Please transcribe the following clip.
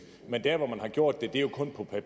af